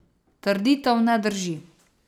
Trditev ne drži.